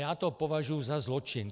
Já to považuji za zločin.